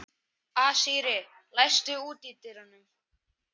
Asírí, læstu útidyrunum.